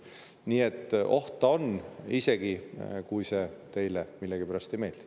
Nii et oht ta on, isegi kui see teile millegipärast ei meeldi.